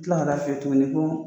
kila ka taa f'i ye tuguni ko